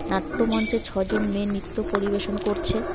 নাট্য মঞ্চে ছজন মেয়ে নিত্য পরিবেশন করছে।